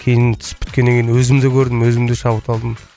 кейін түсіп біткеннен кейін өзім де көрдім өзім де шабыт алдым